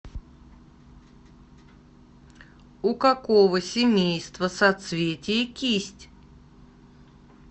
у какого семейства соцветие кисть